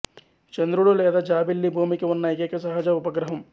చంద్రుడు లేదా జాబిల్లి భూమికి ఉన్న ఏకైక సహజ ఉపగ్రహం